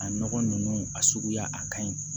A nɔgɔ ninnu a suguya a ka ɲi